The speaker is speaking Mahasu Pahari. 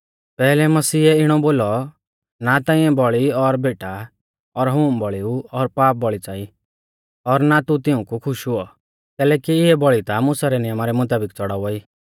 पैहलै मसीह ऐ इणौ बोलौ ना ताइंऐ बौल़ी और भैंटा और होम बौल़ीऊ और पाप बौल़ी च़ाई और ना तू तिऊंकु खुश हुऔ कैलैकि इऐ बौल़ी ता मुसा रै नियमा रै मुताबिक च़ड़ावा ई